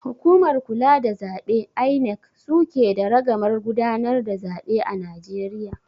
Hukumar kula da zaɓe (INEC) suke da ragamar gudanar da zaɓe a Najeriya